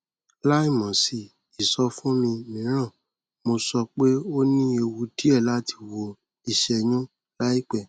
láìmọ sí ìsọfúnni mìíràn mo sọ pé o ní ewu díẹ láti wọ ìṣẹyún láìpẹ